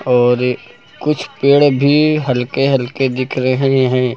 और कुछ पेड़ भी हल्के हल्के दिख रहे हैं।